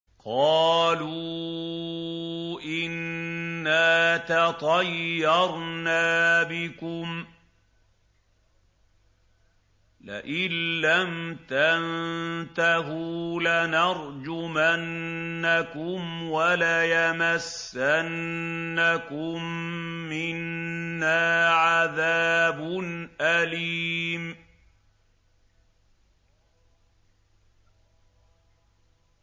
قَالُوا إِنَّا تَطَيَّرْنَا بِكُمْ ۖ لَئِن لَّمْ تَنتَهُوا لَنَرْجُمَنَّكُمْ وَلَيَمَسَّنَّكُم مِّنَّا عَذَابٌ أَلِيمٌ